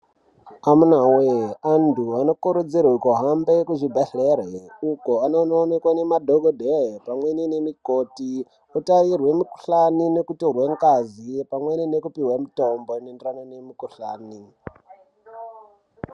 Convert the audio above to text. Amunaa wee antu anokurudzirwe kuhambe kuzvibhedhlere kwavanonoonekwe ngemadhokodheye pamweni nemikoti kutarirwe mudhlani nekutorwa ngazi pamwe nekupihwe mitombo inoendererane nemukudhlani.